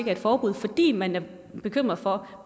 er et forbud fordi man er bekymret for